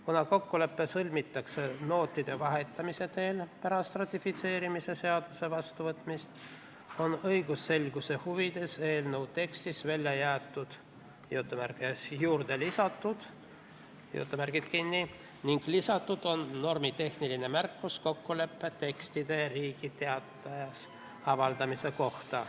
Kuna kokkulepe sõlmitakse nootide vahetamise teel pärast ratifitseerimise seaduse vastuvõtmist, on õigusselguse huvides eelnõu tekstist välja jäetud sõnad "juurde lisatud" ning lisatud on normitehniline märkus kokkuleppe tekstide Riigi Teatajas avaldamise kohta.